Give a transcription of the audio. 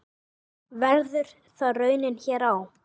Verður það raunin hér á?